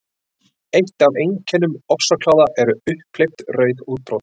Eitt af einkennum ofsakláða eru upphleypt rauð útbrot.